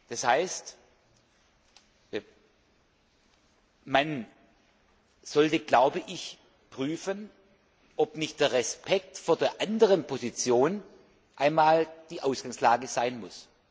Das heißt, man sollte prüfen, ob nicht der Respekt vor der anderen Position einmal die Ausgangslage sein muss.